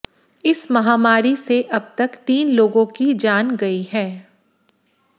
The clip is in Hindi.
इस महामारी से अब तक तीन लोगों की जान गई है